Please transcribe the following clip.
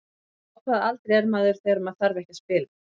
Á hvaða aldri er maður þegar maður þarf ekki að spila?